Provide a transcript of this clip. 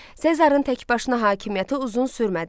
Sezarın təkbaşına hakimiyyəti uzun sürmədi.